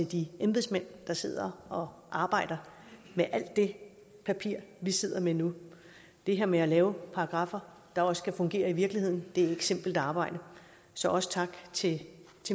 de embedsmænd der sidder og arbejder med alt det papir vi sidder med nu det her med at lave paragraffer der også skal fungere i virkeligheden er ikke simpelt arbejde så også tak til